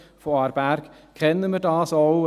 Von Aarberg kennen wir das auch.